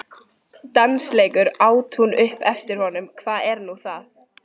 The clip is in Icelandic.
Dansleikur? át hún upp eftir honum, hvað er nú það?